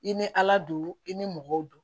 I ni ala don i ni mɔgɔw